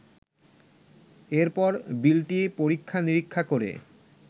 এরপর বিলটি পরীক্ষা নিরীক্ষা করে